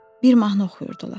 Bir mahnı oxuyurdular.